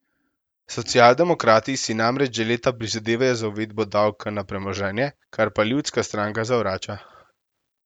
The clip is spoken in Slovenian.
Socialdemokrati si namreč že leta prizadevajo za uvedbo davka na premoženje, kar pa ljudska stranka zavrača.